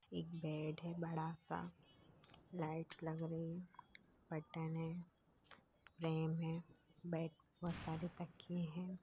एक बेड है बड़ा सा लाइट्स लग रही-- कर्टन है फ्रेम है बेड बहुत सारे तकीये है ।